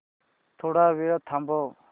थोडा वेळ थांबव